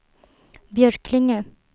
Björklinge